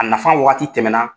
A nafa waati tɛmɛna